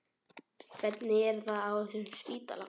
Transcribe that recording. Hvernig er það á þessum spítala?